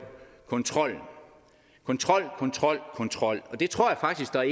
kontrollen kontrol kontrol kontrol og det tror jeg faktisk der